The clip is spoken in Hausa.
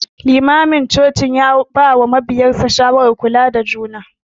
Limamin cocin ya bawa mabiyansa shawara akan kulawa da juna.